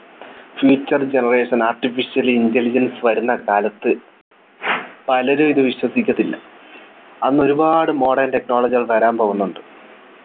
Future generation artificial intelligence വരുന്ന കാലത്ത് പലരും ഇത് വിശ്വസിക്കത്തില്ല അന്ന് ഒരുപാട് modern Technology കൾ വരാൻ പോകുന്നുണ്ട്